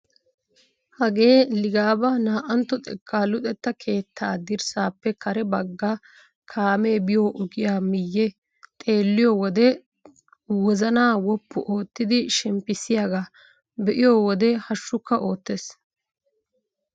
Hagee ligabaa na"antto xekkaa luxettaa keettaa dirssaappe kare bagga kaamee biyo ogiyaa miyee xeelliyo wode wozanaa woppu oottidi shemppissiyaaga be'iyo wode hashshukka oottees!